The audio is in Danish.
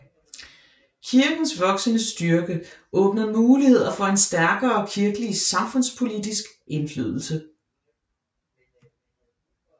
Kirkens voksende styrke åbnede muligheder for en stærkere kirkelig samfundspolitisk indflydelse